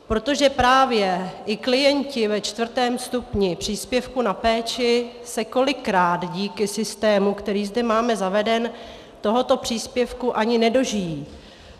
Protože právě i klienti ve čtvrtém stupni příspěvku na péči se kolikrát díky systému, který zde máme zaveden, tohoto příspěvku ani nedožijí.